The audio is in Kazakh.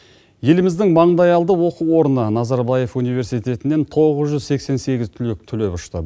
еліміздің маңдайалды оқу орны назарбаев университетінен тоғыз жүз сексен сегіз түлек түлеп ұшты